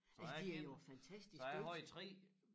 Så jeg så jeg havde 3